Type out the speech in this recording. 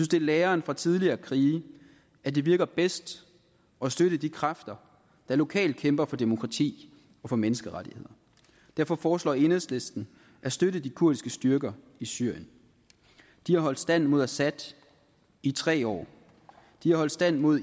det er læren fra tidligere krige at det virker bedst at støtte de kræfter der lokalt kæmper for demokrati og for menneskerettigheder derfor foreslår enhedslisten at støtte de kurdiske styrker i syrien de har holdt stand mod assad i tre år de har holdt stand mod